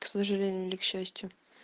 к сожалению или к счастью